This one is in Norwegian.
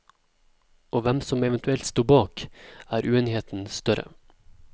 Om hvem som eventuelt sto bak, er uenigheten større.